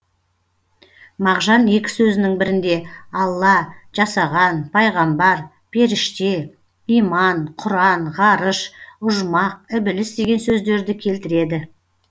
мағжан екі сөзінің бірінде алла жасаған пайғамбар періште иман құран ғарыш ұжмақ ібіліс деген сөздерді келтіреді